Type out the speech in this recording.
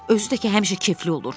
Özü də ki, həmişə keyfli olur.